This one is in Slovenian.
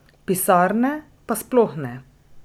Pisarne pa sploh ne.